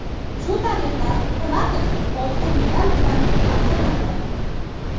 Shu tariqa Po‘latov oltin medal bilan taqdirlandi.